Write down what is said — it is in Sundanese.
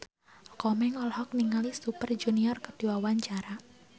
Komeng olohok ningali Super Junior keur diwawancara